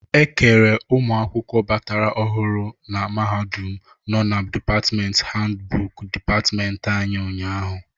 E kere ụmụakwụkwọ batara ọhụrụ na mahadum nọ na dịpatmenti handbụku dịpatmenti anyị ụnyaahụ.